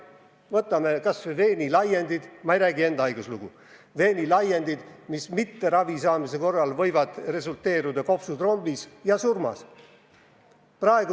Võtame kas või veenilaiendid – ma ei räägi enda haiguslugu –, mis ravi mittesaamise korral võivad põhjustada kopsutrombi ja surma.